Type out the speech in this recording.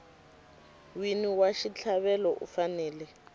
wini wa xitlhavelo u fanele